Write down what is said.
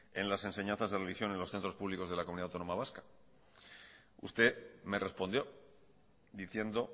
en las enseñanzas de religión en los centros públicos de la comunidad autónoma vasca usted me respondió diciendo